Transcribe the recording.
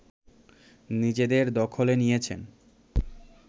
নিজেদের দখলে নিয়েছে